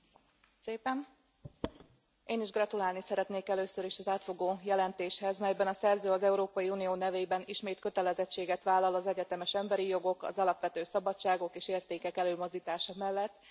Elnök Asszony! Én is gratulálni szeretnék először is az átfogó jelentéshez, melyben a szerző az Európai Unió nevében ismét kötelezettséget vállal az egyetemes emberi jogok, az alapvető szabadságok és értékek előmozdítása mellett.